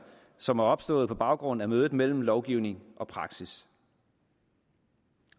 som er opstået på baggrund af mødet mellem lovgivning og praksis